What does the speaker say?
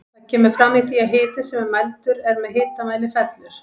Það kemur fram í því að hiti sem mældur er með hitamæli fellur.